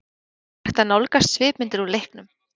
Nú er hægt að nálgast svipmyndir úr leiknum.